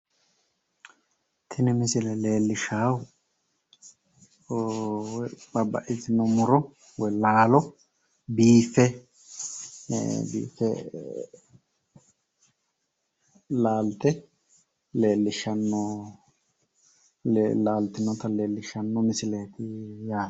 Tini misile leellishshaahu babbaxxitino muro woyi laalo biiffe laalte leellishshanno laaltinota leellishshanno misileeti yaate.